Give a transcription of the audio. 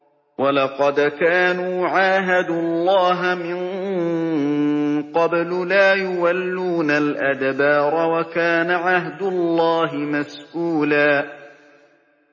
وَلَقَدْ كَانُوا عَاهَدُوا اللَّهَ مِن قَبْلُ لَا يُوَلُّونَ الْأَدْبَارَ ۚ وَكَانَ عَهْدُ اللَّهِ مَسْئُولًا